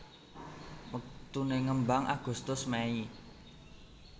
Waktuné ngembang Agustus Mei